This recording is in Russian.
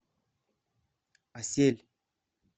асель